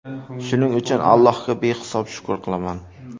Shuning uchun Allohga behisob shukr qilaman.